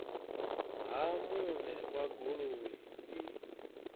ha muṋe wa goloi u